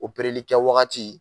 kɛ wagati.